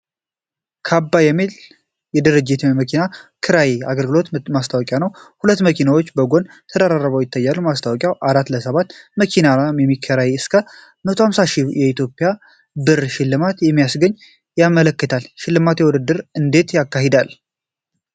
ካባ የሚባል ድርጅት የመኪና ኪራይ አገልግሎት ማስታወቂያ ነው። ሁለት መኪናዎች ከጎን ተደርድረው ይታያሉ። ማስታወቂያው 4 ለ 7 ቀናት መኪና ለሚከራይ እስከ 150,000 የኢትዮጵያ ብር ሽልማት እንደሚያስገኝ ያመለክታል። የሽልማት ውድድሩ እንዴት ይካሄዳል?